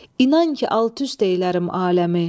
İnan ki, alt-üst eylərim aləmi.